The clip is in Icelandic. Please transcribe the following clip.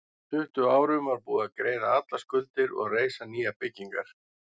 Á tuttugu árum var búið að greiða allar skuldir og reisa nýjar byggingar.